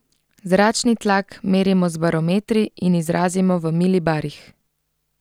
Zračni tlak merimo z barometri in izrazimo v milibarih.